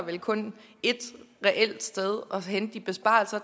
vel kun et reelt sted at hente de besparelser